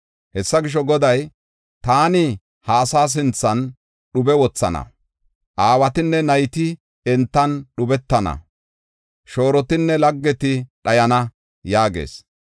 Hessa gisho, Goday, “Taani ha asaa sinthan dhube wothana; aawatinne nayti entan dhubetana; shoorotinne laggeti dhayana” yaagees.